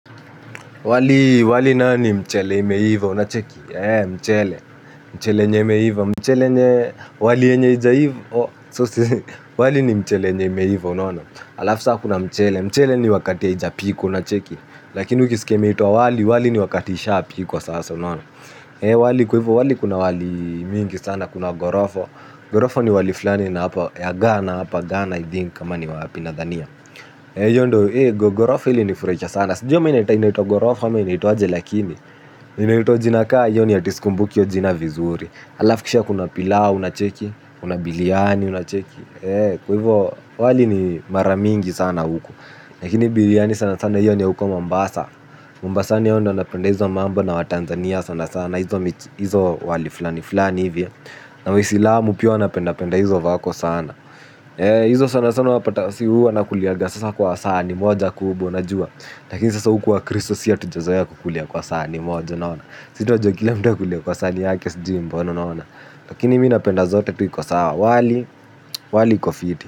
Wali wali nayo ni mchele imeiva unacheki ee mchele mchele yenye imeiva mchele yenye wali yenye ija iva oh sosi wali ni mchele yenye imeiva unaona alafu sa kuna mchele mchele ni wakati haijapikwa unacheki lakini ukiskia imeitwa wali wali ni wakati ishapikwa sasa unaona ee wali kwa ivo wali kuna wali mingi sana kuna gorofo gorofo ni wali flani na hapa ya gana hapa gana i think kama ni wapi nadhania iyo ndo gogorof ilinifuraisha sana. Sijui ama inaita inaitwa gogorof ama inaitwaje lakini inaitwa jina kaa iyo ni ati skumbuki iyo jina vizuri alafu kishia kuna pilau unacheki. Kuna biliani unacheki. Kwa hivyo wali ni maramingi sana huku lakini biliani sana sana iyo ni ya huko mombasa Mombasani hao ndo wanapenda hizo mambo na watanzania sana sana. Izo wali flani flani hivyo na wisilamu pia wanapenda penda hizo vako sana. Izo sana sana wapata si huu anakuliaga. Sasa kwa saani moja kubwa unajua. Lakini sasa huku wakristo si hatujazoea kukulia kwa saani moja naona. Si tunajua kila mtu akulie kwa saani yake sijiu mbona unaona. Lakini mi napenda zote tu iko sawa wali wali iko fiti.